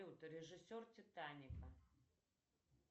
режиссер титаника